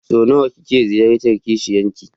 Sau nawa kike ziyartar kishiyan ki?